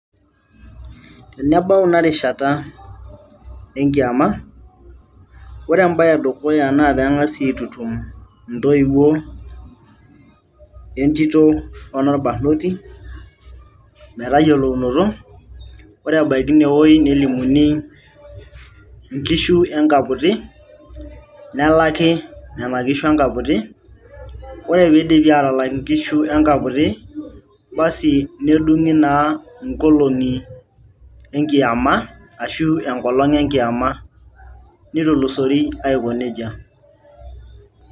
tenebau ina rishata enkiama ore embaye edukuya naa peng'asi aitutum intoiwuo entito onorbarrnoti metayiolounoto ore ebaiki inewoi nelimuni inkishu enkaputi nelaki nena kishu enkaputi ore piidipi atalak inkishu enkamputi basi nedung'i naa inkolong'i enkiama ashu enkolonh enkiama nitulusori aiko nejia.